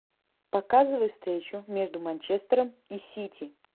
показывай встречу между манчестером и сити